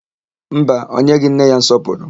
Mba, o nyeghị nne ya nsọpụrụ.